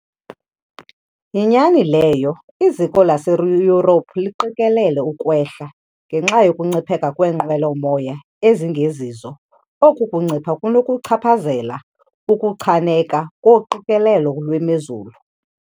Yinyani leyo iziko laseYurophu liqikelele ukwehla ngenxa yokuncipheka kweenqwelomoya ezingezizo. Oku kuncipha kunokuchaphazela ukuchaneka koqikelelo lwemozulu.